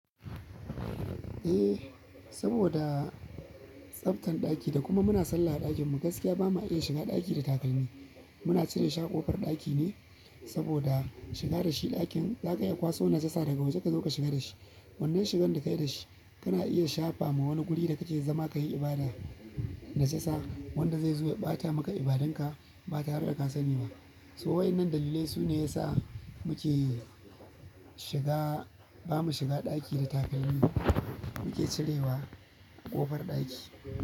Eh, saboda tsaftan ɗaki da kuma muna sallah a ɗakinmu, gaskiya bamu iya shiga ɗaki da takalmi. Muna cire shi a ƙofar ɗaki ne saboda shiga da shi ɗakin za ka iya kwaso najasa daga waje ka zo ka shiga da shi. Wannan shigan da ka yi da shi kana iya shafa ma wani guri da kake zama ka yi ibada najasa wanda zai zo ya ɓata maka ibadun ka ba tare da kasani ba. To wa'innan dalilai su ne ya sa muke shiga, ba mu shiga ɗaki da takalmi. Mu ke cirewa ƙofar ɗaki.